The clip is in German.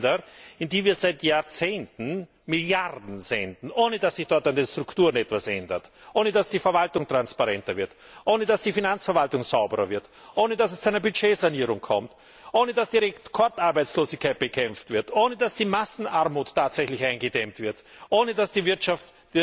jene Länder, in die wir seit Jahrzehnten Milliarden senden, ohne dass sich dort an den Strukturen etwas ändert, ohne dass die Verwaltung transparenter wird, ohne dass die Finanzverwaltung sauberer wird, ohne dass es zu einer Budgetsanierung kommt, ohne dass die Rekordarbeitslosigkeit bekämpft wird, ohne dass die Massenarmut tatsächlich eingedämmt wird, ohne dass die Wirtschaft